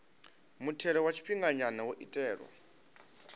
muthelo wa tshifhinganya wo itelwa